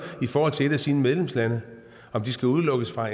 i forhold til et af sine medlemslande om det skal udelukkes fra